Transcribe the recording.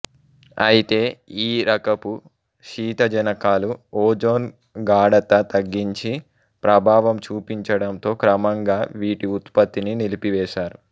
అయితే ఈ రకపు శీతజనకాలు ఓజోన్ గాఢత తగ్గించి ప్రభావం చూపించడంతో క్రమంగా వీటి ఉత్పత్తిని నిలిపివేశారు